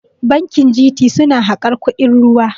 Bankin G.T suna harkar kuɗin ruwa